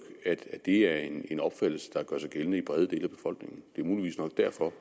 at det er en opfattelse der gør sig gældende i brede dele af befolkningen det er muligvis nok derfor